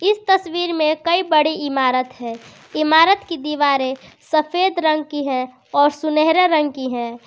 इस तस्वीर में कई बड़ी इमारत है इमारत की दीवारें सफेद रंग की है और सुनहरे रंग की है।